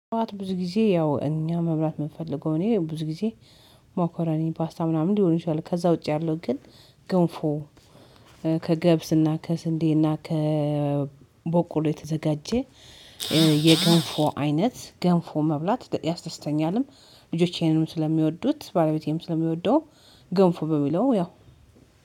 ጠዋት ብዙ ጊዜ ያው እኛ መብላት የምፈልገው እኔ ብዙ ጊዜ። መኮራኒ ፓስታ ምናምን ሊሆን ይችላል ከዛ ውጪ ያለው ግን ገንፎ። ከገብስና ከስንዴና ከበቆሎ የተዘጋጀ። የገንፎ አይነት ገንፎ መብላት ያስደስተኛልም። ልጆቼንም ስለሚወዱት ባለቤቴም ስለሚወደው ገንፎ በሚለው ያው።